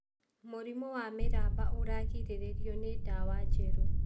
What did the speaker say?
Mũrimũ wa mĩramba ũragirĩrĩrio nĩ ndawa njerũ.